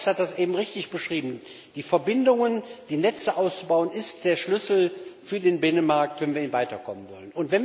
Kollege Fox hat das eben richtig beschrieben Die Verbindungen, die Netze auszubauen, das ist der Schlüssel für den Binnenmarkt, wenn wir hier weiterkommen wollen.